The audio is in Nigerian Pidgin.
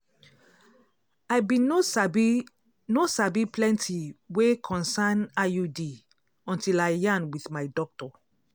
i bin no sabi no sabi plenti wey concern iud until i yarn wit my doctor